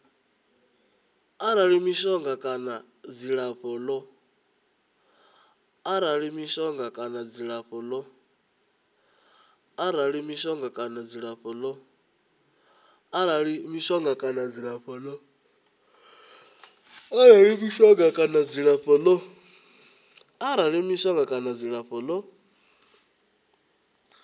arali mishonga kana dzilafho ḽo